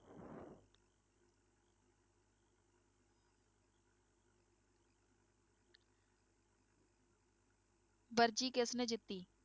ਵਰਜੀ ਕਿਸਨੇ ਜਿੱਤੀ?